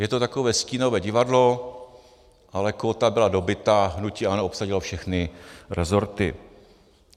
Je to takové stínové divadlo, ale kóta byla dobyta, hnutí ANO obsadilo všechny resorty.